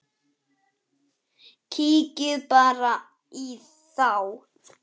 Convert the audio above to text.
Kíkið bara í þá!